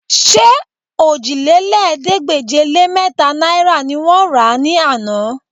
Ṣé òjìlélẹ́ẹ̀ẹ́dégbèje-lé-mẹ́ta náìrà ni wọ́n rà á ní àná?